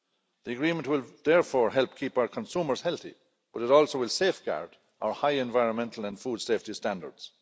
The agreement will therefore help keep our consumers healthy, but it also will safeguard our high environmental and food safety standards.